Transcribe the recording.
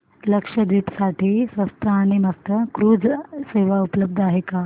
लक्षद्वीप साठी स्वस्त आणि मस्त क्रुझ सेवा उपलब्ध आहे का